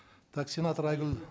так сенатор айгүл